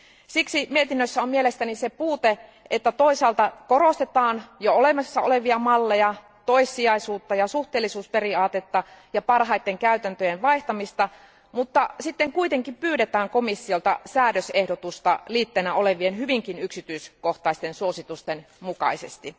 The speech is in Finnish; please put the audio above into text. Siksi mietinnössä on mielestäni se puute, että toisaalta korostetaan jo olemassa olevia malleja, toissijaisuutta ja suhteellisuusperiaatetta ja parhaiden käytäntöjen vaihtamista, mutta sitten kuitenkin pyydetään komissiolta säädösehdotusta liitteenä olevien hyvinkin yksityiskohtaisten suositusten mukaisesti.